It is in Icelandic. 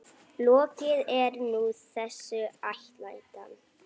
Lokið er nú þessi ætlan.